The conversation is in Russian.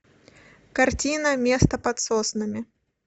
картина место под соснами